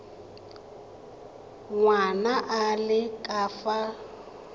ngwana a le ka fa